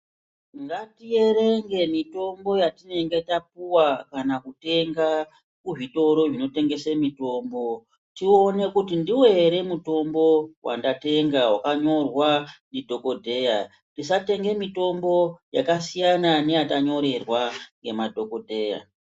Ngatierenge mitombo yatinenge tapuwa kana kutenga kuzvitoro zvinotengese mitombo, tione kuti ndiwo here mutombo wandatenga wakanyorwa ndidhokodheya. Tisatenge mitombo yakasiyana neyatanyorerwa ngemadhokodheya.